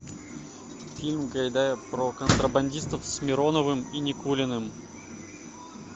фильм гайдая про контрабандистов с мироновым и никулиным